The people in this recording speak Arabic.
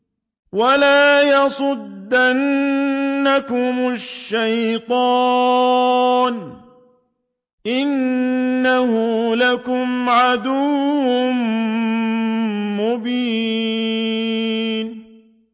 وَلَا يَصُدَّنَّكُمُ الشَّيْطَانُ ۖ إِنَّهُ لَكُمْ عَدُوٌّ مُّبِينٌ